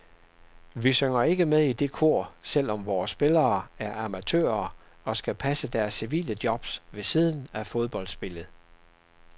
Vi synger ikke med i det kor, selv om vore spillere er amatører og skal passe deres civile jobs ved siden af fodboldspillet.